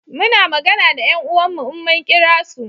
Muna magana da 'yan uwan mu in mun kira su